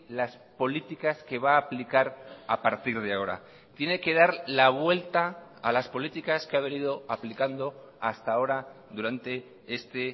las políticas que va a aplicar a partir de ahora tiene que dar la vuelta a las políticas que ha venido aplicando hasta ahora durante este